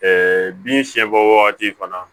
bin siɲɛbɔ wagati fana